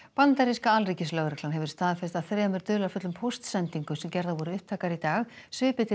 bandaríska alríkislögreglan hefur staðfest að þremur dularfullum póstsendingum sem gerðar voru upptækar í dag svipi til